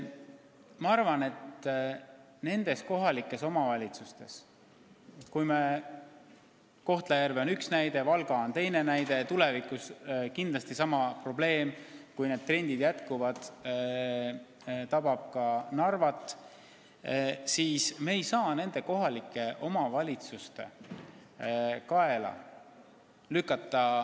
Ma arvan, et me ei saa nendes linnades – Kohtla-Järve on üks näide, Valga on teine näide ja tulevikus tabab sama probleem, kui need trendid püsivad, kindlasti ka Narvat – kogu seda kohustust lükata kohaliku omavalitsuse kaela.